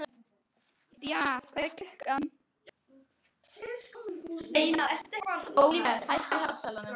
Díanna, hvað er klukkan?